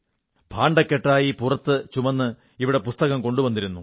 ഭാണ്ഡക്കെട്ടായി പുറത്ത് ചുമന്ന് ഇവിടെ പുസ്തകം കൊണ്ടുവന്നിരുന്നു